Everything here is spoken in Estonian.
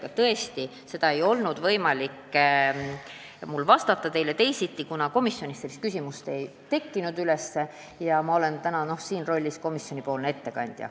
Aga teile tõesti ei ole mul võimalik teisiti vastata, kuna komisjonis sellist küsimust ei tekkinud ja ma olen praegu komisjonipoolne ettekandja.